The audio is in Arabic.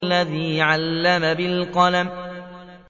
الَّذِي عَلَّمَ بِالْقَلَمِ